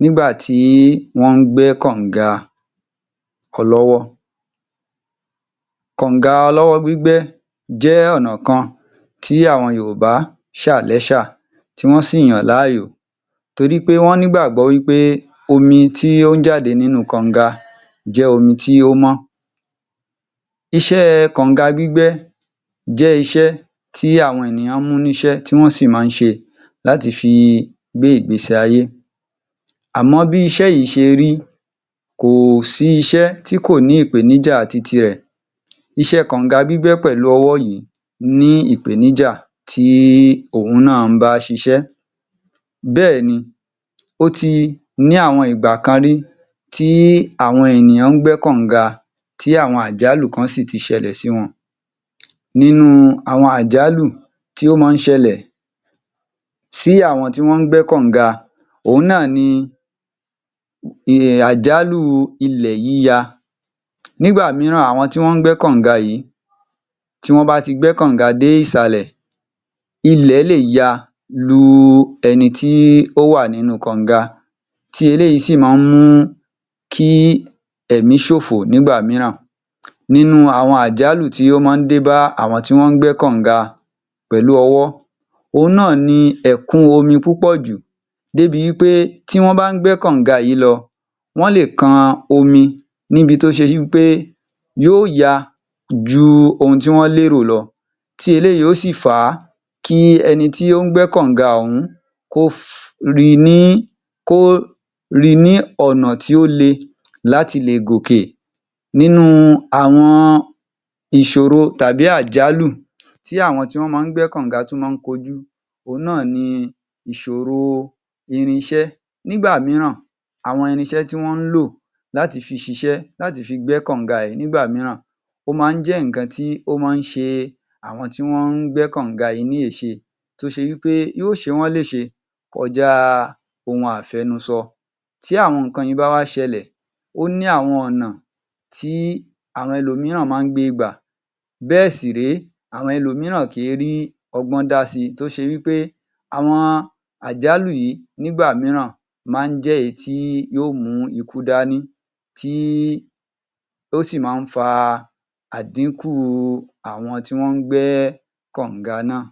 nígbà tí wọ́n gbẹ́ kọ̀nga kan lọ́wọ́? Kọ̀nga ọlọ́wọ́ gbígbẹ́ jẹ́ ọ̀nà kan tí àwọn Yorùbá ṣà lẹ́ṣà tí wọ́n si yàn láàyò torí pé wọ́n nígbàgbọ́ wí pé omi tí ó ń jáde nínú kọ̀nga jẹ́ omi tí ó mọ́, iṣẹ́ kọ̀nga gbígbẹ́ jẹ́ iṣẹ́ tí àwọn ènìyàn mú níṣẹ́ tí wọ́n sì máa ń ṣe láti fi gbé ìgbésí ayé àmọ́ bí iṣẹ́ yìí ṣe rí, kò sí iṣẹ́ tí kò ní ìpèníjà ti ti rẹ̀. Iṣẹ́ kọ̀nga gbígbẹ́ pẹ̀lú ọwọ́ yìí ní ìpèníjà tí òun náà ń bá ṣiṣẹ́. Bẹ́ẹ̀ni, ó ti ní àwọn ìgbà kan rí tí àwọn ènìyàn ń gbẹ́ kọ̀nga tí àwọn àjálù kan si ti ṣẹlẹ̀ sí wọn. Nínú àwọn àjálù tí ó máa ń ṣẹlẹ̀ sí àwọn tó ń gbẹ́ kọ̀nga, òun náà ni àjálù ilẹ̀ yíya, nígbà mìíràn àwọn tí wọ́n gbẹ́ kọ̀nga yìí, tí wọ́n bá tí gbẹ́ kọ̀nga dé ìsàlẹ̀, ilẹ̀ le ya lu ẹni tí ó wà nínu kọ̀nga tí eléyìí sí máa ń mú kí ẹ̀mí ṣòfò nígbà mìíràn. Nínú àwọn àjálù tí ó máa ń dé bá àwọn tí wọ́n gbẹ́ kọ̀nga pẹ̀lú ọwọ́, òun náà ni ẹ̀kún omi púpọ̀ jù, bí ń pé bí wọ́n bá ń gbẹ́ kọ̀nga yìí lọ wọ́n le kan omi níbi tó ṣe wí pé yóò ya ju ohun tọ́ lérò lọ - Tí eléyìí yóò si fà á kí ẹni tí ó ń gbẹ́ kọ̀nga ọ̀ún kó ri ní, kó ri ní ọ̀nà tí ó le láti lè gòkè. Nínú àwọn ìṣòro tàbí àjálù tí àwọn tí wọ́n máa ń gbẹ́ kọ̀nga tún máa ń kojú, òun náà ni ìṣòro irinṣẹ́, nígbà mìíràn, àwọn irinṣẹ́ tí wọ́n lò láti fi ṣiṣẹ́, láti fi gbẹ́ kọ̀nga yìí nígbà mìíràn, ó máa ń jẹ́ nǹkan tí ó máa ń ṣe àwọn tí wọ́n gbẹ́ kọ̀nga yìí ní èṣe, tó ṣe wí pé yóò ṣe wọ́n ní èṣe kọjá ohun àfẹnusọ. Tí àwọn nǹkan yìí bá wá ṣẹlẹ̀, ó ní àwọn ọ̀nà tí àwọn ẹlòmíràn máa ń gbe gbà, bẹ́ẹ̀ sì ré, àwọn ẹlòmíràn kì í rí ọgbọ́n dá si tó ṣe wí pé àwọn àjálù yìí nígbà mìíràn máa ń jẹ́ èyí tí yóò mú ikú dání tí ó sì máa ń fa àdínkù àwọn tí wọ́n gbẹ́ kọ̀nga náà.